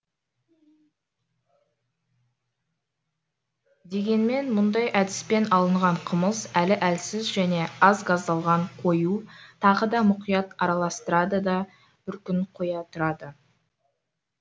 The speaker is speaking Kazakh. дегенмен мұндай әдіспен алынған қымыз әлі әлсіз және аз газдалған қою тағы да мұқият араластырады да бір күн қоя тұрады